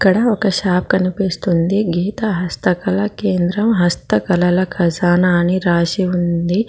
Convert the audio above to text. ఇక్కడ ఒక షాపు కనిపిస్తుంది గీతా హస్త కళా కేంద్రం హస్త కళల ఖజానా అని రాసి ఉంది.